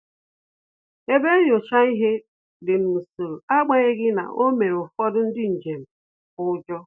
Ebe nnyocha ihe dị n'usoro, agbanyeghi na o mere ụfọdụ ndị njem ụjọ